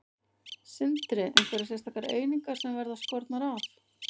Sindri: Einhverjar sérstakar einingar sem verða skornar af?